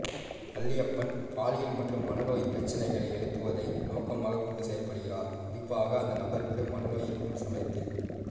வள்ளியப்பன் பாலியல் மற்றும் மனநோயின் பிரச்சினைகளை எழுப்புவதை நோக்கமாகக் கொண்டு செயல்படுகிறார் குறிப்பாக அந்த நபருக்கு மனநோய் இருக்கும் சமயத்தில்